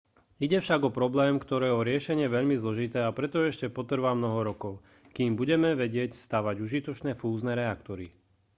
ide však o problém ktorého riešenie je veľmi zložité a preto ešte potrvá mnoho rokov kým budeme vedieť stavať užitočné fúzne reaktory